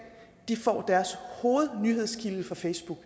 får deres hovednyhedskilde fra facebook